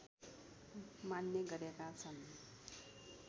मान्ने गरेका छन्